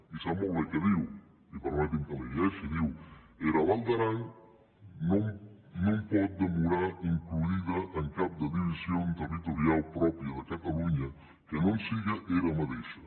i sap molt bé què diu i permeti’m que la hi llegeixi diu era val d’aran non pòt demorar includida en cap de division territoriau pròpia de catalonha que non sigue era madeisha